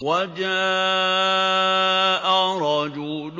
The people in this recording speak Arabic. وَجَاءَ رَجُلٌ